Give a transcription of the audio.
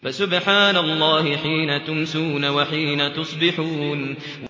فَسُبْحَانَ اللَّهِ حِينَ تُمْسُونَ وَحِينَ تُصْبِحُونَ